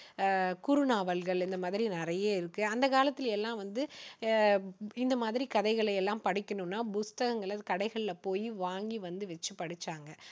அஹ் குறுநாவல்கள் இந்த மாதிரி நிறைய இருக்கு. அந்த காலத்தில எல்லாம் வந்து, அஹ் இந்த மாதிரி கதைகளை எல்லாம் படிக்கணும்னா புஸ்தகங்களை வந்து கடைகளில போய் வாங்கி வந்து வச்சு படிச்சாங்க.